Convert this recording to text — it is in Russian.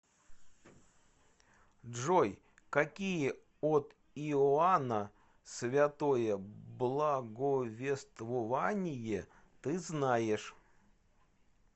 джой какие от иоанна святое благовествование ты знаешь